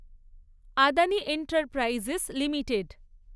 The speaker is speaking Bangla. Adani enterprises limited